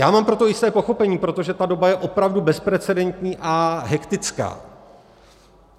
Já mám pro to jisté pochopení, protože ta doba je opravdu bezprecedentní a hektická.